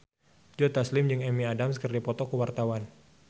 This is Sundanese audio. Joe Taslim jeung Amy Adams keur dipoto ku wartawan